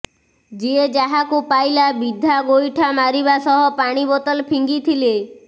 ଯିଏ ଯାହାକୁ ପାଇଲା ବିଧା ଗୋଇଠା ମାରିବା ସହ ପାଣି ବୋତଲ ଫିଙ୍ଗିଥିଲେ